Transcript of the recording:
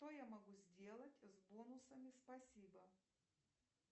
что я могу сделать с бонусами спасибо